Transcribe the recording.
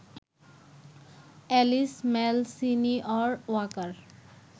Alice Malsenior Waker